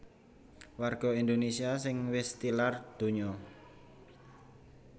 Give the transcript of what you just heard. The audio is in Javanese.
Warga Indonésia sing wis tilar donya